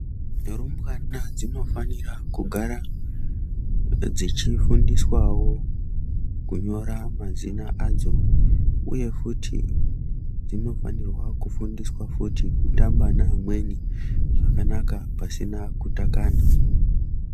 Rumbwana dzinofanira kugara dzechifundiswawo kunyora mazina adzo uyefuti dzinofanira kufundiswa fti kutamba nevamwe zvakanaka pasina kutakana.